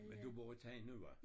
Men du bor i Tejn nu hva?